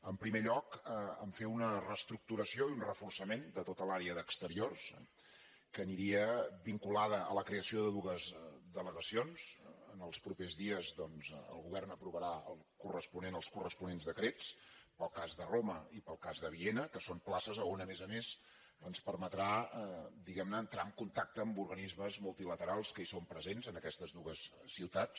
en primer lloc en fer una reestructuració i un reforçament de tota l’àrea d’exteriors que aniria vinculada a la creació de dues delegacions en els pro·pers dies doncs el govern aprovarà els corresponents decrets per al cas de roma i per al cas de viena que són places on a més a més ens permetrà diguem·ne entrar en contacte amb organismes multilaterals que hi són presents en aquestes dues ciutats